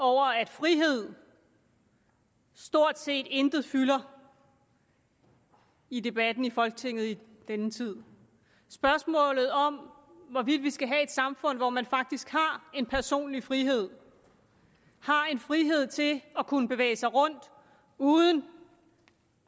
over at frihed stort set intet fylder i debatten i folketinget i denne tid spørgsmålet om hvorvidt vi skal have et samfund hvor man faktisk har personlig frihed har frihed til at kunne bevæge sig rundt uden